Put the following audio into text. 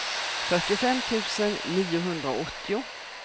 fyrtiofem tusen niohundraåttio